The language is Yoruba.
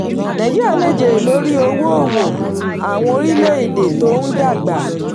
nàìjíríà lè jèrè lórí owó òwò àwọn orílẹ̀ èdè tó ń dàgbà.